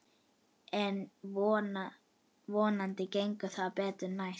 En vonandi gengur betur næst.